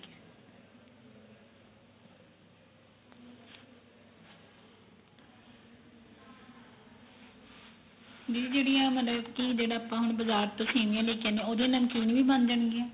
ਦੀ ਜਿਹੜੀ ਆ ਮਤਲਬ ਕੀ ਜਿਹੜਾ ਆਪਾਂ ਹੁਣ ਬਜਾਰ ਤੋਂ ਸੇਮੀਆਂ ਲੇ ਕੇ ਆਨੇ ਆ ਉਹਦੀ ਨਮਕੀਨ ਵੀ ਬਣ ਜਾਣ ਗੀਆਂ